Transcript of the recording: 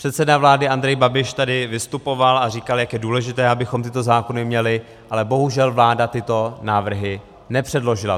Předseda vlády Andrej Babiš tady vystupoval a říkal, jak je důležité, abychom tyto zákony měli, ale bohužel vláda tyto návrhy nepředložila.